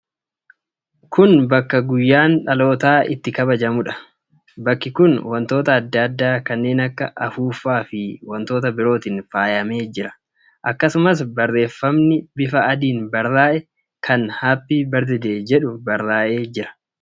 Kun bakka guyyaan dhalootaa itti kabajamuudha. Bakki kun wantoota adda addaa kanneen akka afuuffaa fi wantoota birootiin faayamee jira. Akkasumas barreefamni bifa adiin barraa'e kan 'Happy Birthday' jedhu barraa'ee jira.